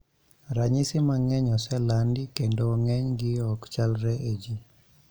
Ranyisi mang'eny oselandi kendo ng'eny gi ok chalre e jii